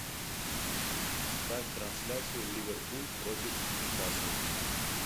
ставь трансляцию ливерпуль против нью касл